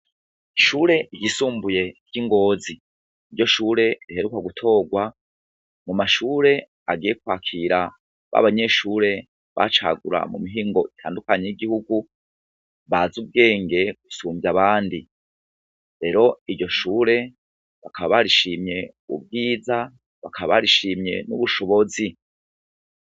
Ishure ryisumbuye ry' i Ngozi. Niryo shure riheruka gutorwa mu mashure agiye kwakira ba banyeshure bacagura mu mihingo itandukanye y'igihugu, bazi ubwenge gusumvya abandi. Rero iryo shure bakaba barishimye ubwiza, bakaba barishimye n'ubushonozi.